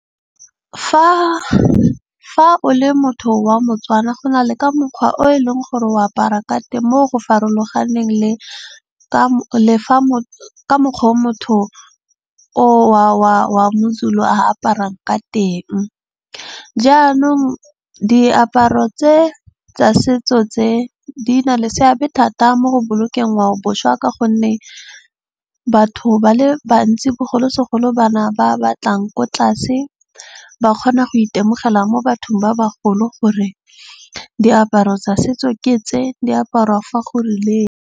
Fa o le motho wa mo-Tswana go na le ka mokgwa o e leng gore o apara ka teng mo go farologaneng le ka le fa ka mokgwa o motho o wa mo-Zulu a aparang ka teng. Jaanong diaparo tse tsa setso tse di na le seabe thata mo go bolokeng ngwaoboswa. Ka gonne batho ba le bantsi bogolosegolo bana ba batlang ko tlase. Ba kgona go itemogela mo bathong ba bagolo gore diaparo tsa setso ke tse di aparwa fa go rileng.